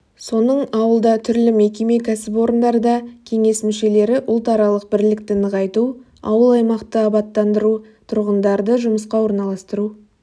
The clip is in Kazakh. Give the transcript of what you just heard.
соның ауылда түрлі мекеме кәсіпорындарда кеңес мүшелері ұлтаралық бірлікті нығайту ауыл-аймақты абаттандыру тұрғындарды жұмысқа орналастыру